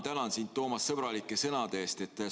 Tänan sind, Toomas, sõbralike sõnade eest!